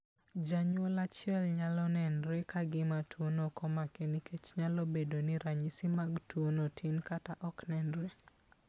Janyuol achiel nyalo nenore ka gima tuwono ok omake nikech nyalo bedo ni ranyisi mag tuo no tin kata ok onenre.